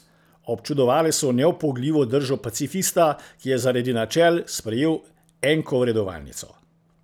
Občudovale so neupogljivo držo pacifista, ki je zaradi načel sprejel enko v redovalnico.